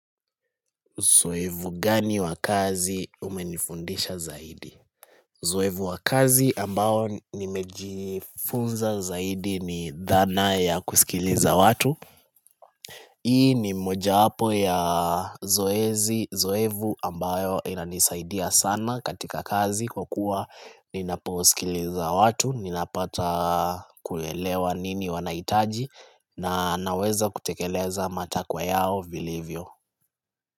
Zoevu gani wakazi umenifundisha zaidi? Zoevu wakazi ambao nimejifunza zaidi ni dhana ya kusikiliza watu. Hii ni moja wapo ya zoezi, zoevu ambayo inanisaidia sana katika kazi kwa kuwa ninaposikiliza watu, ninapata kulelewa nini wanahitaji na naweza kutekeleza matakwa yao vilivyo.